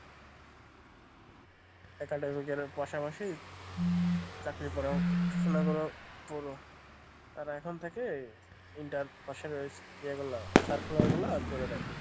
Academic এর পাশাপাশি চাকরি পড়াশুনও করো আর এখন থেকে inter পাশে রয়েছে ইয়েগুলা circular গুলো আর করে দেখো।